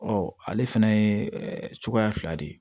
Ɔ ale fana ye cogoya fila de ye